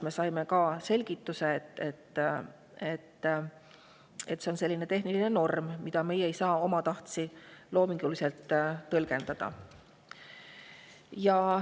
Me saime selgituse, et see on selline tehniline norm, mida meie ei saa omatahtsi loominguliselt tõlgendada.